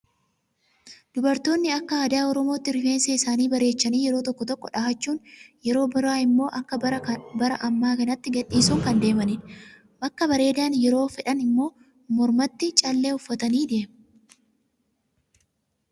Dubartoonni akka aadaa oromootti rifeensa isaanii bareechanii yeroo tokko tokko dhahachuun yeroo biraa immoo akka bara ammaa kanatti gadhiisuun kan deemanidha. Akka bareedan yeroo fedhan immoo mormatti callee uffatanii deemu.